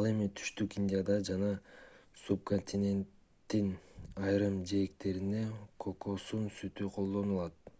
ал эми түштүк индияда жана субконтиненттин айрым жээктеринде кокосун сүтү колдонулат